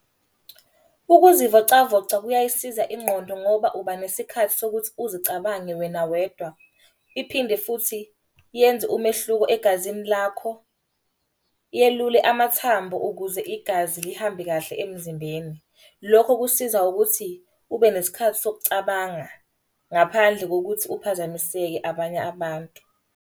Ukuzivocavoca kuyayisiza ingqondo ngoba uba nesikhathi sokuthi uzicabange wena wedwa. Iphinde futhi yenze umehluko egazini lakho, yelule amathambo ukuze igazi lihambe kahle emzimbeni. Lokho kusiza ukuthi ube nesikhathi sokucabanga ngaphandle kokuthi uphazamiseke abanye abantu.